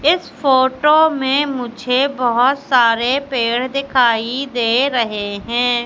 इस फोटो में मुझे बहोत सारे पेड़ दिखाई दे रहे हैं।